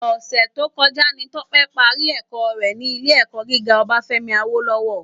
Òsè tókòjá ni Tope pàrí èkò rè ni ilé èkò gigá Obafemi Awolowo